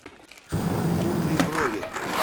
кудри брови